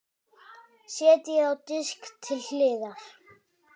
Setjið á disk til hliðar.